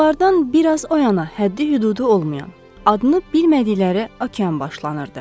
Onlardan biraz o yana həddi-hüdudu olmayan, adını bilmədikləri okean başlanırdı.